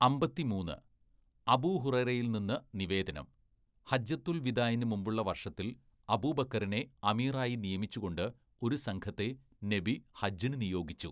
അമ്പത്തിമൂന്ന്, അബൂഹുറൈറയിൽനിന്ന് നിവേദനം, ‘ഹജ്ജത്തുൽ വിദാഇന് മുമ്പുളള വർഷത്തിൽ അബൂബക്കറിനെ അമീറായി നിയമിച്ചുകൊണ്ട് ഒരു സംഘത്തെ നബി ഹജ്ജിന് നിയോഗിച്ചു.’